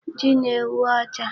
Ji na-enwu ọcha.